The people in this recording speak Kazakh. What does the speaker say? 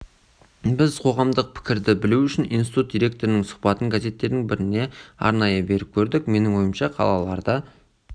біз қоғамдық пікірді білу үшін институт директорының сұхбатын газеттердің біріне арнайы беріп көрдік менің ойымша қалаларда